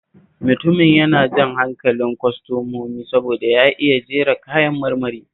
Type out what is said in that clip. Mutumin yana jan hankalin kwastomomi saboda ya iya jera kayan marmari